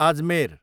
Ajmer